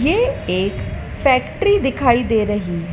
ये एक फैक्ट्री दिखाई दे रही--